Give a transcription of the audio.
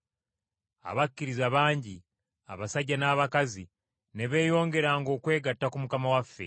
Abakkiriza bangi abasajja n’abakazi ne beeyongeranga okwegatta ku Mukama waffe.